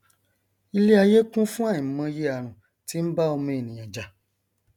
iléaiyé kún fún àìmọye àrùn tí nbá ọmọ ènìà jà